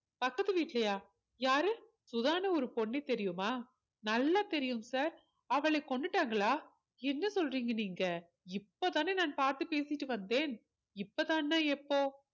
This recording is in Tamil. பக்கத்டு வீட்டுலயா யாரு சுதான்னு ஒரு பொண்ணு தெரியுமா நல்லா தெரியும் sir அவள கொன்னுட்டாங்களா என்ன சொல்றீங்க நீங்க இப்போதானே நான் பார்த்து பேசிட்டு வந்தேன் இப்போதான்னா எப்போ